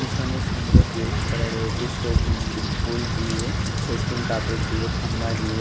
pitch মানে সুন্দর gate করা রয়েছে সবুজ ফুল দিয়ে কাপড় দিয়ে থাম্বা দিয়ে--